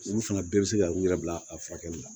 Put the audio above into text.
Olu fana bɛɛ bɛ se ka u yɛrɛ bila a furakɛli la